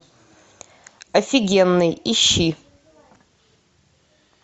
офигенный ищи